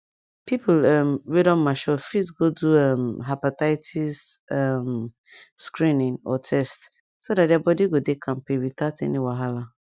people um wey don mature fit go do um hepatitis um screening or test so that their body go dey kampe without any wahala